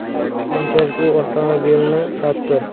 Keyinchalik u avtomobilini sotdi.